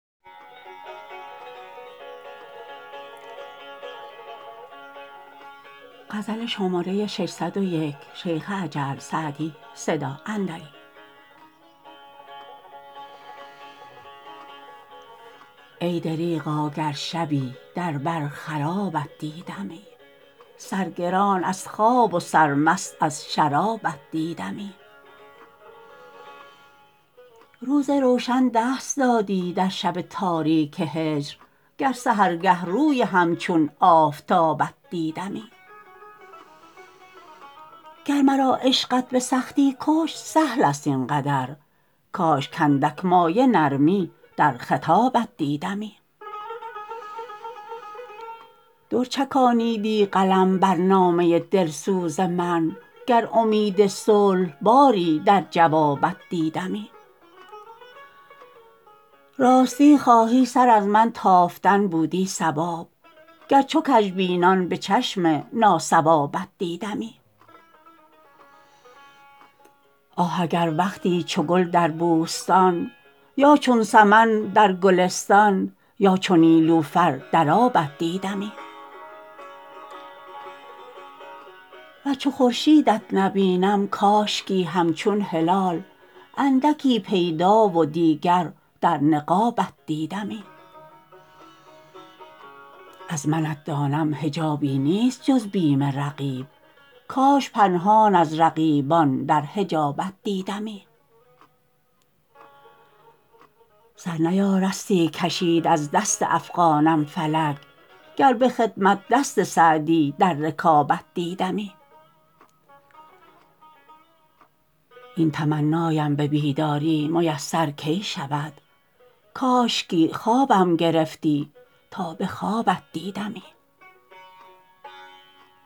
ای دریغا گر شبی در بر خرابت دیدمی سرگران از خواب و سرمست از شرابت دیدمی روز روشن دست دادی در شب تاریک هجر گر سحرگه روی همچون آفتابت دیدمی گر مرا عشقت به سختی کشت سهل است این قدر کاش کاندک مایه نرمی در خطابت دیدمی در چکانیدی قلم بر نامه دلسوز من گر امید صلح باری در جوابت دیدمی راستی خواهی سر از من تافتن بودی صواب گر چو کژبینان به چشم ناصوابت دیدمی آه اگر وقتی چو گل در بوستان یا چون سمن در گلستان یا چو نیلوفر در آبت دیدمی ور چو خورشیدت نبینم کاشکی همچون هلال اندکی پیدا و دیگر در نقابت دیدمی از منت دانم حجابی نیست جز بیم رقیب کاش پنهان از رقیبان در حجابت دیدمی سر نیارستی کشید از دست افغانم فلک گر به خدمت دست سعدی در رکابت دیدمی این تمنایم به بیداری میسر کی شود کاشکی خوابم گرفتی تا به خوابت دیدمی